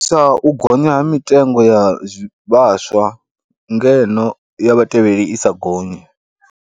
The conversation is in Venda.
Sa u gonya ha mitengo ya vhaswa ngeno ya vhatevheli i sa gonyi.